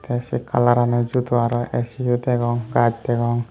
tey se colorano judo aro aisiyo degong gaj degong.